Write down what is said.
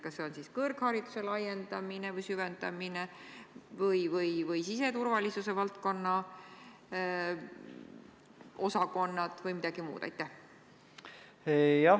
Kas see on siis kõrghariduse laiendamine või süvendamine või siseturvalisuse valdkonna osakonnad või midagi muud?